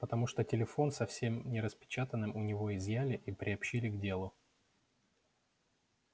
потому что телефон со всем нераспечатанным у него изъяли и приобщили к делу